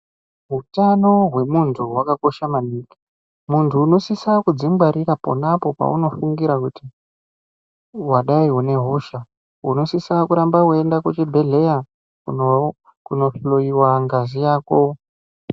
Utano hwemuntu hwakakosha maningi muntu unosisa kudzingwarira ponapo paunofungira kuti wadai une hosha unosisa kuramba weienda kuvhibhedhleya kunou kunohloiwa ngazi yako.